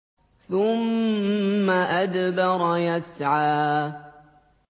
ثُمَّ أَدْبَرَ يَسْعَىٰ